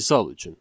Misal üçün.